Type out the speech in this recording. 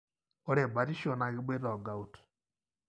ore batisho na keboita o gout.